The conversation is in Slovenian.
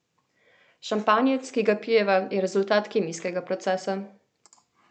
Šampanjec, ki ga pijeva, je rezultat kemijskega procesa.